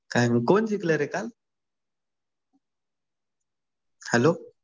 काय मग कोण जिंकलं रे काल? हॅलो